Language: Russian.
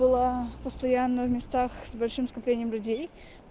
была постоянно в местах с большим скоплением людей